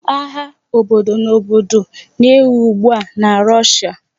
Agha obodo na obodo na-ewu ugbua na Russia